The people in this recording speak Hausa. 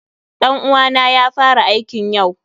Ɗan uwa na ya fara aikn yau.